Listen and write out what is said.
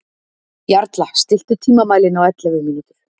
Jarla, stilltu tímamælinn á ellefu mínútur.